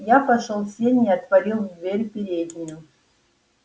я пошёл в сени и отворил дверь в переднюю